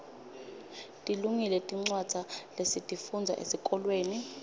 tilungile tincwadza lesitifundza esikolweni